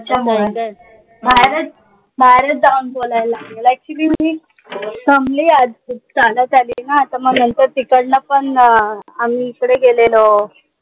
त्याच्यामुळे बाहेरच बाहेरच जाऊन बोलायला लागले. actually मी दमली आज खूप चालत आले ना त म नंतर तिकडन पन अं आम्ही इकडे गेलेलो.